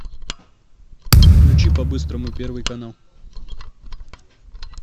включи по быстрому первый канал